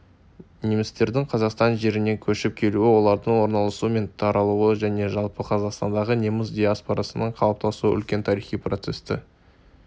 немістердің қазақстан жеріне көшіп келуі олардың орналасуы мен таралуы және жалпы қазақстандағы неміс диаспорасының қалыптасуы үлкен тарихи процесті